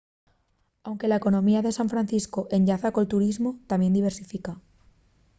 anque la economía de san francisco enllaza col turismu tamién diversifica